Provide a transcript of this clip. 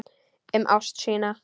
Um ást sína.